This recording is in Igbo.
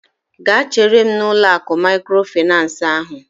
Gaa chere m n'ụlọ akụ maịkrofaịnans ahụ!